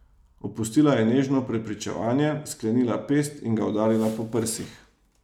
Opustila je nežno prepričevanje, sklenila pest in ga udarila po prsih.